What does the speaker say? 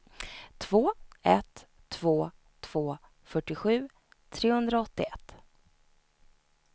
två ett två två fyrtiosju trehundraåttioett